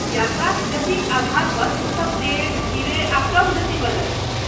यात्राक गतिक आधारपर ओ सब तेज, धीरे, आ कम गतिवला अछि।